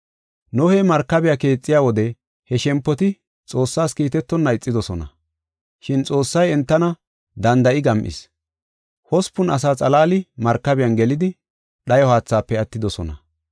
Nohey markabiya keexiya wode he shempoti Xoossaas kiitetonna ixidosona, shin Xoossay entana danda7i gam7is. Hospun asa xalaali markabiyan gelidi, dhayo haathaafe attidosona.